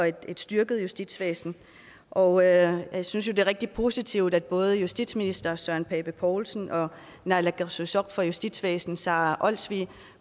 et styrket justitsvæsen og jeg synes jo det er rigtig positivt at både justitsminister søren pape poulsen og naalakkersuisoq for justitsvæsenet sara olsvig